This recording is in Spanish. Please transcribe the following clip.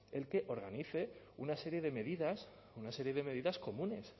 el que organice una serie de medidas una serie de medidas comunes